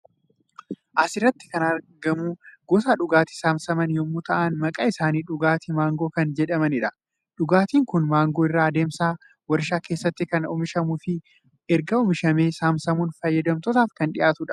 Asirratti kan argamu gosa dhugaatii saamsaman yommuu ta'an maqaan isaaniis dhugaatii Maangoo kan jedhamanidha. Dhugaatiin kun maangoo irraa adeemsan warshaa keessatti kan oomishamuufi erga oomishamee saamsamuun fayyadamtootaaf kan dhiyaatu dha.